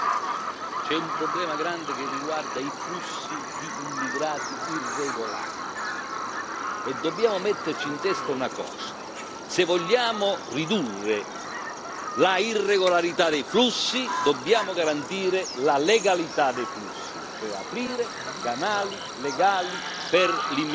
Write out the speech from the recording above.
C'è un problema grande che riguarda i flussi di immigrati irregolari e dobbiamo metterci in testa una cosa se vogliamo ridurre la irregolarità dei flussi dobbiamo garantire la legalità dei flussi, cioè aprire canali legali per l'immigrazione.